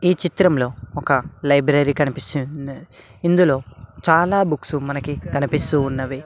ఈ చిత్రంలో ఒక లైబ్రరీ కనిపిస్తున్నది ఇందులో చాలా బుక్సు మనకి కనిపిస్తూ ఉన్నవి.